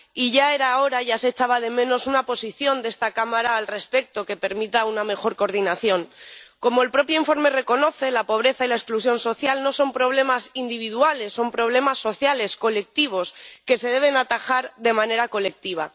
Y ya era hora, ya se echaba de menos una posición de esta Cámara al respecto que permita una mejor coordinación. Como el propio informe reconoce, la pobreza y la exclusión social no son problemas individuales, son problemas sociales, colectivos, que se deben atajar de manera colectiva.